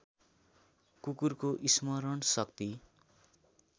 कुकुरको स्मरण शक्ति